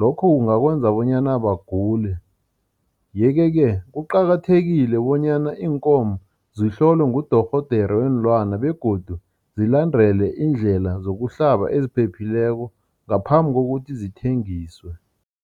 Lokho kungakwenza bonyana bagule yeke-ke kuqakathekile bonyana iinkomo zihlolwe ngudorhodere weenlwana begodu zilandele indlela zokuhlaba eziphephileko ngaphambi kokuthi zithengiswe.